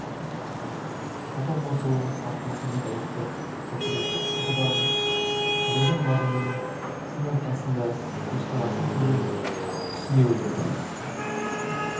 хат алмасуы арқасында тарихты материалистік тұрғыдан танудың мазмұнын сын арқасында көзқарасын терең түсіне білді